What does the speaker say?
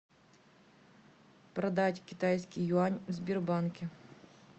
продать китайский юань в сбербанке